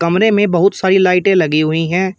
मे बहुत सारी लाइटे लगी हुई है।